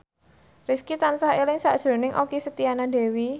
Rifqi tansah eling sakjroning Okky Setiana Dewi